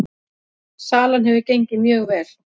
Salan hefur gengið mjög vel